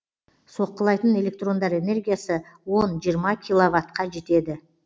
соққылайтын электрондар энергиясы он жиырма киловаттқа жетеді